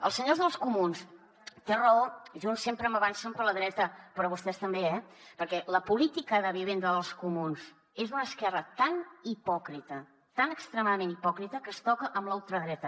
als senyors dels comuns té raó junts sempre m’avancen per la dreta però vostès també eh perquè la política de vivenda dels comuns és d’una esquerra tan hipòcrita tan extremadament hipòcrita que es toca amb la ultradreta